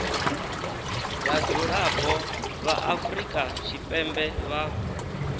vhadzulapo vha afrika tshipembe vha